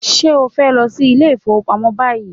Are you goint to the bank now?